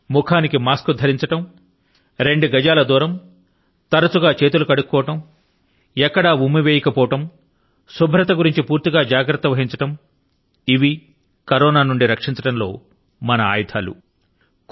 ముఖానికి మాస్క్ ను ధరించడం రెండు గజాల దూరం తరచు గా చేతుల ను కడుక్కుంటూ ఉండడం సర్వజనిక ప్రదేశాల లో ఉమ్మి వేయకపోవడం శుభ్రత ను గురించి పూర్తి గా జాగ్రత్త వహించడం ఇవి కరోనా బారి న పడకుండా మనలను మనం రక్షించుకోవడం లో మన యొక్క ఆయుధాలు గా పనిచేయగలవు